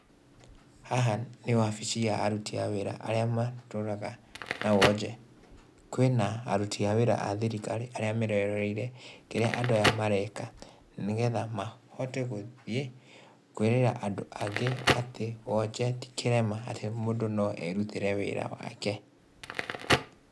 Haha nĩ wabici ya aruti a wĩra, arĩa matũraga na wonje. Kwĩna aruti a wĩra a thirikari arĩa meroreire kĩrĩa andũ aya mareka, nĩgetha mahote gũthiĩ kwĩrĩra andũ angĩ atĩ wonje tĩ kĩrema atĩ mũndũ no erutĩre wĩra wake.